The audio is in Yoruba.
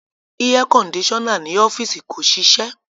Airconditioner ni ọfiisi ko ṣiṣẹ